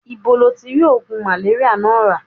Ibo lo ti ri ogun maleria naa ra?